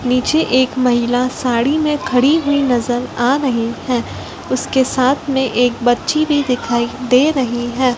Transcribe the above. नीचे एक महिला साड़ी में खड़ी हुई नजर आ रही है उसके साथ में एक बच्ची भी दिखाई दे रही है।